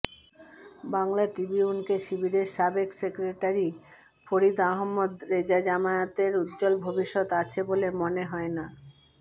বাংলা ট্রিবিউনকে শিবিরের সাবেক সেক্রেটারি ফরীদ আহমদ রেজাজামায়াতের উজ্জ্বল ভবিষ্যৎ আছে বলে মনে হয় না